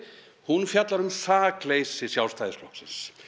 hún fjallar um sakleysi Sjálfstæðisflokksins